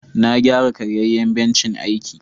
Na gyara karyayan bencin aiki.